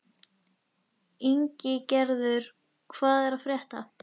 Ingigerður, hvað er að frétta?